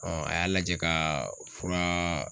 a y'a lajɛ ka fura